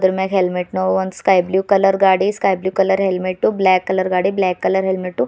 ಮ್ಯಾಗ್ helmet ನು ಒಂದ್ sky blue colour ಗಾಡಿ sky blue colour helmet black colour ಗಾಡಿ ಬ್ಲಾಕ್ ಕಲರ್ ಹೆಲ್ಮೆಟ್ಟು .